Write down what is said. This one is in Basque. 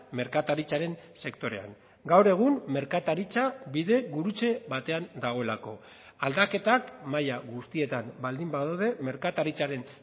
merkataritzaren sektorean gaur egun merkataritza bidegurutze batean dagoelako aldaketak mahaia guztietan baldin badaude merkataritzaren